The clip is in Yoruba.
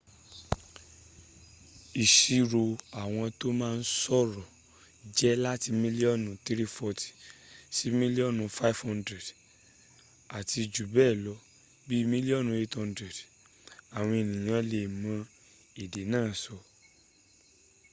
ìṣirò àwọn tó ma sọ̀rọ̀ jẹ́ láti mílíọ́nù 340 sí mílíọ́nù 500 àti jù bẹ́ẹ̀ lọ bí mílíọ́nù 800 àwọn ènìyàn lè mọ èdè náà sọ